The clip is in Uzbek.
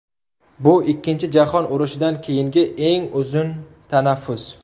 Bu Ikkinchi jahon urushidan keyingi eng uzun tanaffus?